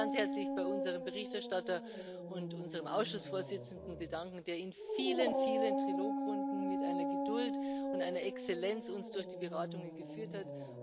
Ich möchte mich ganz herzlich bei unserem Berichterstatter und unserem Ausschussvorsitzenden bedanken, der uns in vielen, vielen Trilogrunden mit einer Geduld und einer Exzellenz durch die Beratungen geführt hat.